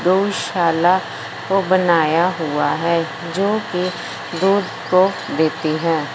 गौशाला को बनाया हुआ है जो की दूध को देती हैं।